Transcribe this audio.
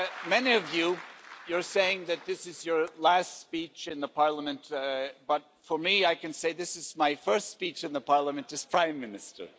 Many of you are saying that this is your last speech in Parliament, but for me, I can say this is my first speech in Parliament as Prime Minister.